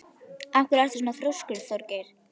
Af hverju ertu svona þrjóskur, Þjóðgeir?